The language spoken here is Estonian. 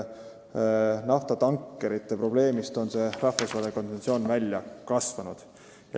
Naftatankerite probleemist ongi see rahvusvaheline konventsioon tegelikult välja kasvanud.